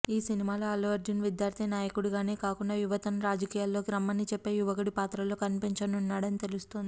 ఈ సినిమాలో అల్లు అర్జున్ విద్యార్థి నాయకుడిగానే కాకుండా యువతను రాజకీయాల్లోకి రమ్మని చెప్పే యువకుడి పాత్రలో కనిపించనున్నాడని తెలుస్తోంది